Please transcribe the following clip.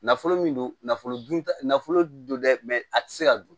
Nafolo min don nafolo dun ta nafolo don dɛ a tɛ se ka dun